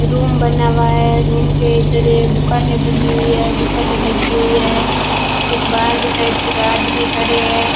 Room बना हुआ है रूम के इधर ये दुकानें बनी हुई है दुकानें लगी हुई है कुछ बाहर के साइड कुछ आदमी खड़े हैं।